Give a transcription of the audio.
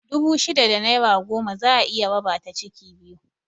Dubu shida da naira goma za'a iya raba ta ciki biyu